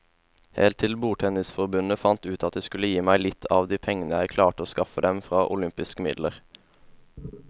Helt til bordtennisforbundet fant ut at de skulle gi meg litt av de pengene jeg klarte å skaffe dem fra olympiske midler.